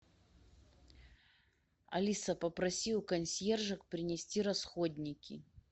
алиса попроси у консьержек принести расходники